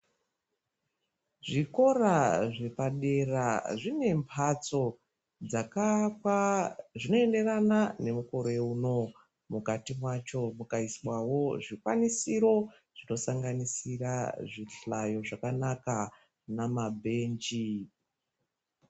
Zvikora zvepadera zvine mphatso ,dzaakwa zvinoenderana nemukore uno. Mukati mwacho mukaiswawo zvikwanisiro zvinosanganisira zvihlayo zvakanaka namabhenji.